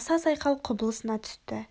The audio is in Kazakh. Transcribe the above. аса сайқал құбылысына түсті